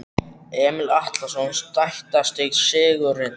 Emil Atlason Sætasti sigurinn?